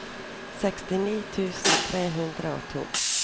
sekstini tusen tre hundre og to